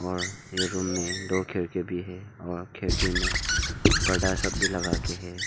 और ये रूम में दो खिड़की भी है और खिड़की में पर्दा सब भी लगा के है।